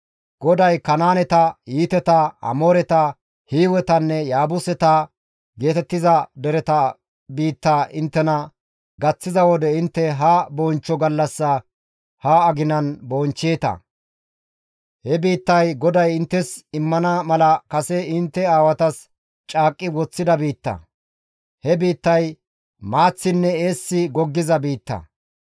GODAY Kanaaneta, Hiiteta, Amooreta, Hiiwetanne Yaabuseta geetettiza dereta biittaa inttena gaththiza wode intte ha bonchcho gallassaa ha aginan bonchcheeta. He biittay GODAY inttes immana mala kase intte aawatas caaqqi woththida biitta. He biittay maaththinne eessi goggiza biitta.